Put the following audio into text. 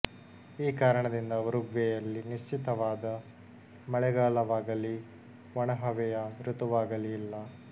ಈ ಕಾರಣದಿಂದ ಉರುಗ್ವೇಯಲ್ಲಿ ನಿಶ್ಚಿತವಾದ ಮಳೆಗಾಲವಾಗಲಿ ಒಣಹವೆಯ ಋತುವಾಗಲಿ ಇಲ್ಲ